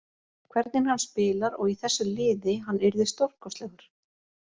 Hvernig hann spilar, og í þessu liði, hann yrði stórkostlegur.